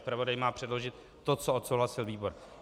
Zpravodaj má předložit to, co odsouhlasil výbor.